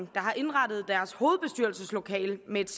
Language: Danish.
der har indrettet deres hovedbestyrelseslokale med et